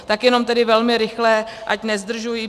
Tak jenom tedy velmi rychle, ať nezdržuji.